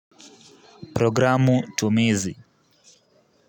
Programu tumizi.